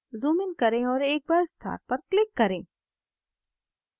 zoom in करें और एक बार star पर click करें